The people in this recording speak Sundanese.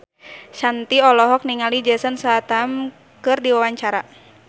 Shanti olohok ningali Jason Statham keur diwawancara